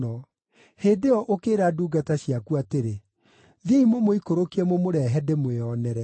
“Hĩndĩ ĩyo ũkĩĩra ndungata ciaku atĩrĩ, ‘Thiĩi mũmũikũrũkie mũmũrehe ndĩmwĩonere.’